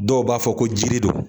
Dɔw b'a fɔ ko jiri don